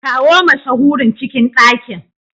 Kawo mashahurin cikin ɗakin.